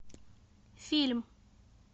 фильм